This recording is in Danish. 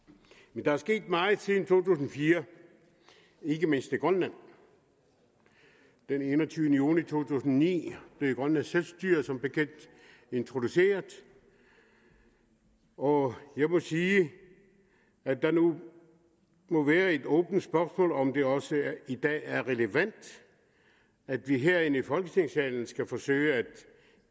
men der er sket meget siden to tusind og fire ikke mindst i grønland den enogtyvende juni to tusind og ni blev grønlandsk selvstyre som bekendt introduceret og jeg må sige at det nu må være et åbent spørgsmål om det også i dag er relevant at vi herinde i folketingssalen skal forsøge at